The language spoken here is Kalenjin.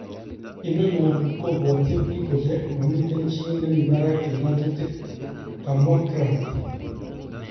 Inono kobwotwin bik kole momiten chi nemibarak eng ngotutik, kamwa Grant.